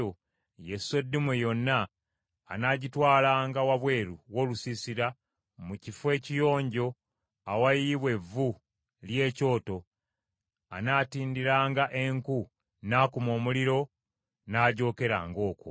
ye sseddume yonna, anaagitwalanga wabweru w’olusiisira mu kifo ekiyonjo awayiyibwa evvu ly’ekyoto, anaatindiranga enku n’akuma omuliro n’agyokeranga okwo.